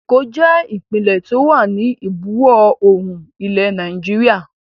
Èkó jẹ ìpínlẹ́ tí ó wà ní ìbuwọ̀ oòrùn ilẹ̀ Nàìjíríà